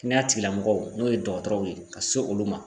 Kɛnɛya tigilamɔgɔw n'o ye dɔgɔtɔrɔw ye ka se olu ma